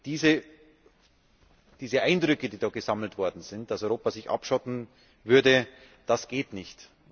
Diese Eindrücke, die da gesammelt worden sind, dass Europa sich abschotten würde, das geht nicht.